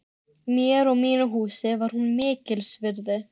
Mér og mínu húsi var hún mikils virði.